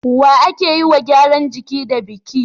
wa ake yiwa gyaran jiki da biki